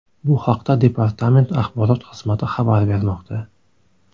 Bu haqda departament axborot xizmati xabar bermoqda.